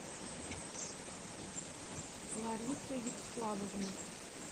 ларисы вячеславовны